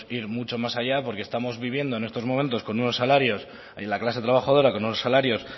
ir mucho más allá porque estamos viviendo en estos momentos en la clase trabajadora con unos salarios